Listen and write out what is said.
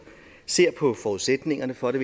ser på forudsætningerne for det